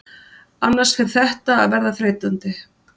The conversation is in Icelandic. Annars fer þetta að verða þreytandi.